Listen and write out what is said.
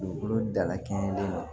Dugukolo dalakɛɲɛ de don